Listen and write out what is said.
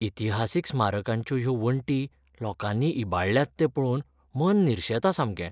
इतिहासीक स्मारकांच्यो ह्यो वण्टी लोकांनी इबाडल्यात तें पळोवन मन निर्शेता सामकें.